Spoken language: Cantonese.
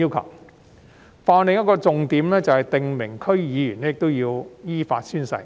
《條例草案》的另一項重點，是訂明區議員必須依法宣誓。